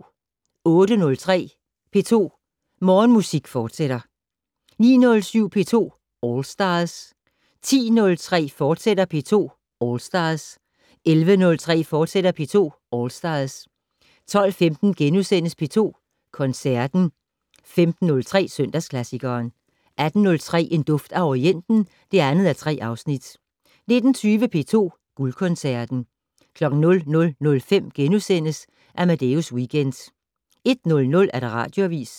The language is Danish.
08:03: P2 Morgenmusik, fortsat 09:07: P2 All Stars 10:03: P2 All Stars, fortsat 11:03: P2 All Stars, fortsat 12:15: P2 Koncerten * 15:03: Søndagsklassikeren 18:03: En duft af Orienten (2:3) 19:20: P2 Guldkoncerten 00:05: Amadeus Weekend * 01:00: Radioavis